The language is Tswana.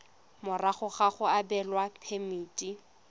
morago ga go abelwa phemiti